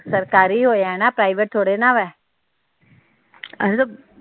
ਸਰਕਾਰੀ ਹੋਇਆ ਨਾ ਪ੍ਰਾਈਵੇਟ ਥੋੜੇ ਨਾ ਵੇ